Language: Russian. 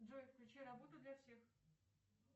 джой включи работу для всех